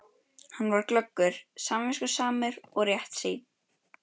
Hann var glöggur, samviskusamur og réttsýnn.